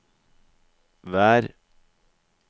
vær